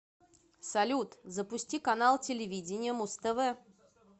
салют запусти канал телевидения муз тв